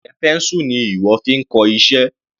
Njẹ́ pencil ni ìwọ fi ń kọ iṣẹ́?